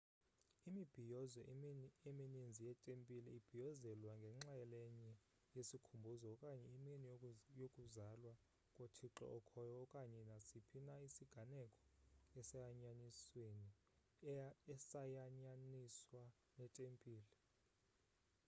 imibhiyozo eminizni yetempile ibhiyozelwa njengenxalenye yesikhumbuzo okanye imini yokuzalwa kothixo okhoyo okanye nasiphi na isiganeko esayanyaniswa netempile